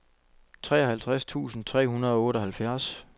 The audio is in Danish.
treoghalvtreds tusind tre hundrede og otteoghalvfjerds